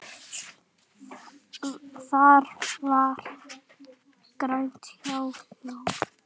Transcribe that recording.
Var þá glatt á hjalla.